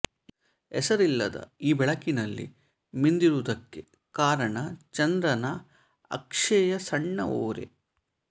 ಹೆಸರಿಲ್ಲದ ಈ ಬೆಳಕಿನಲ್ಲಿ ಮಿಂದಿರುವುದಕ್ಕೆ ಕಾರಣ ಚಂದ್ರನ ಅಕ್ಷೆಯ ಸಣ್ಣ ಓರೆ